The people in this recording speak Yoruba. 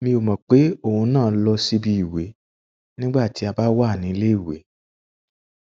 mi ò mò pé òun ń lọ síbi ìwè nígbà tí a bá wà níléèwé